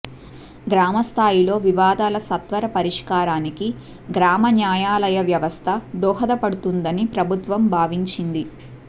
గ్రామ స్థాయిలో వివాదాల సత్వర పరిష్కారానికి గ్రామ న్యాయాలయాల వ్యవస్థ దోహదపడుతుందని ప్రభుత్వం భావించింది